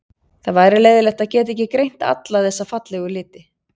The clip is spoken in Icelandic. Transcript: Það væri leiðinlegt að geta ekki greint alla þessa fallegu liti.